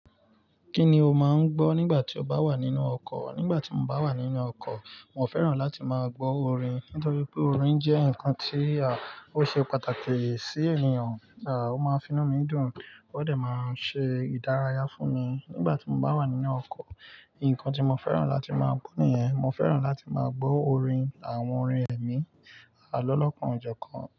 Kí ni o máa ń gbọ́ nígbà tí o bá wà nínú ọkọ̀? Nígbà tí mo bá wà nínú ọkọ̀, mo fẹ́ràn láti máa gbọ́ orin nítorí pé orin jẹ́ nǹkan tí àá, ó ṣe pàtàkì sí ènìyàn. Àá, ó máa finú mi dùn, ó dẹ̀ máa ń ṣe ìdárayá fún mi nígbà tí mo bá wà nínú ọkọ̀. Ìkàn tí mo fẹ́ràn láti máa gbọ́ nìyẹn. Mo fẹ́ràn láti máa gbọ́ orin àwọn orin ẹ̀mí, àlọ lọ́kan ojọ̀ kan.